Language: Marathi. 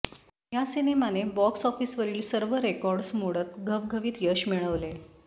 या सिनेमाने बॉक्स ऑफिसवरील सर्व रेकॉर्ड्स मोडत घवघवीत यश मिळवले